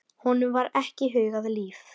Honum var ekki hugað líf.